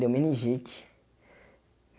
Deu meningite.